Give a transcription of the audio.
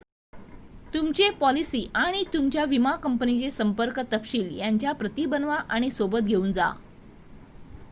तुमची पॉलिसी आणि तुमच्या विमा कंपनीचे संपर्क तपशील यांच्या प्रती बनवा आणि सोबत घेऊन जा